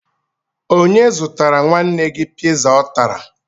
Onye zụtara nwanne gị piza ọ tara?